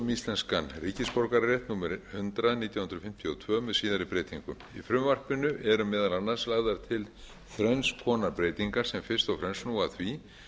íslenskan ríkisborgararétt númer hundrað nítján hundruð fimmtíu og tvö með síðari breytingum í frumvarpinu eru meðal annars lagðar til þrenns konar breytingar sem fyrst og fremst snúa að því